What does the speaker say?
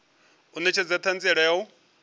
u netshedza thanziela ya u